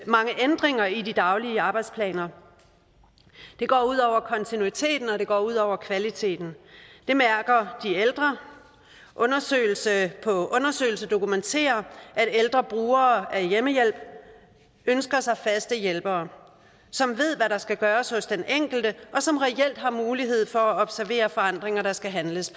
mange ændringer i de daglige arbejdsplaner og det går ud over kontinuiteten og det går ud over kvaliteten det mærker de ældre undersøgelse på undersøgelse dokumenterer at ældre brugere af hjemmehjælp ønsker sig faste hjælpere som ved hvad der skal gøres hos den enkelte og som reelt har mulighed for at observere forandringer der skal handles